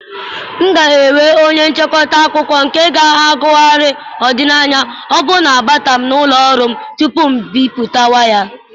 M ga-ewe onye nchịkọta akụkọ nke ga-agụgharị ọdịnaya ọ bụla na-abata na ụlọ ọrụ m tupu ibipụta ya.